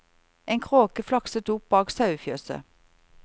En kråke flakset opp bak sauefjøset.